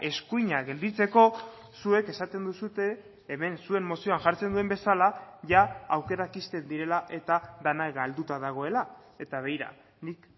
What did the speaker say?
eskuina gelditzeko zuek esaten duzue hemen zuen mozioan jartzen duen bezala jada aukerak ixten direla eta dena galduta dagoela eta begira nik